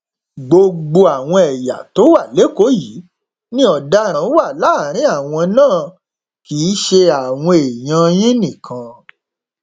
gbogbo àwọn ẹyà tó wà lẹkọọ yìí ni ọdaràn wà láàrin àwọn náà kì í ṣe àwọn èèyàn yín nìkan